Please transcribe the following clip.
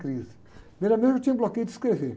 crise. Primeiramente, eu tinha bloqueio de escrever.